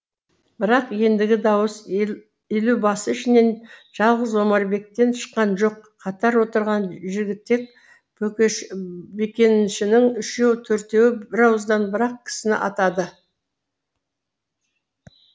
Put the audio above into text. бірақ ендігі дауыс елубасы ішінен жалғыз омарбектен шыққан жоқ қатар отырған жігітек бөкеншінің үшеу төртеуі бірауыздан бір ақ кісіні атады